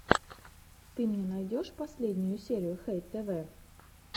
ты мне найдешь последнюю серию хэй тэвэ